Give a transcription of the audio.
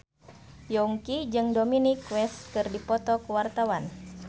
Yongki jeung Dominic West keur dipoto ku wartawan